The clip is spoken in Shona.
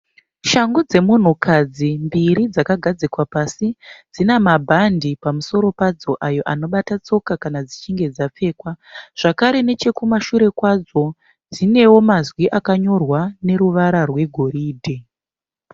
Shangu dzemunhukadzi mbiri dzakagadzikwa pasi dzinamabhandi pamusoro padzo ayo anobata tsoka kana dzichinge dzapfekwa. Zvakare nechekumashure kwadzo dzinewo mazwi akanyorwa neruvara rwegoridhe.